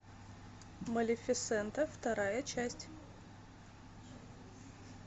малефисента вторая часть